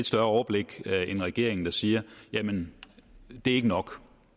større overblik end regeringen siger jamen det er ikke nok